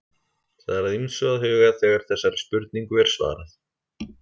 Það er að ýmsu að huga þegar þessari spurningu er svarað.